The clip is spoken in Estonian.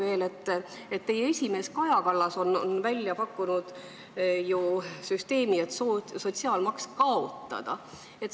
Teie erakonna esimees Kaja Kallas on pakkunud, et sotsiaalmaks tuleks kaotada.